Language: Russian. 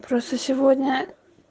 просто сегодня